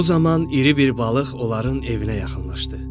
O zaman iri bir balıq onların evinə yaxınlaşdı.